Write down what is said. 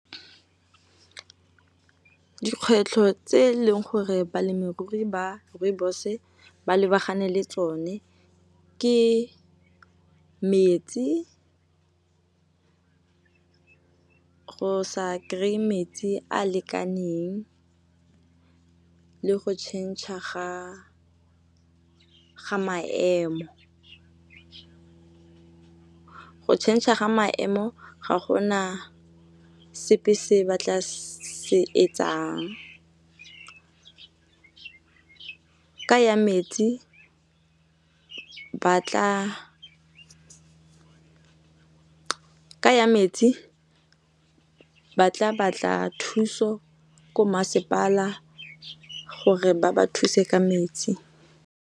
Dikgwetlho tse e leng gore balemirui ba Rooibos ba lebagane le tsone ke metsi go sa kry-e metsi a lekaneng, le go tšhentšha ga maemo. Go tšhentšha ga maemo ga gona sepe se ba tla se etsang, ka ya metsi ba tla batla thuso ko masepala gore ba ba thuse ka metsi.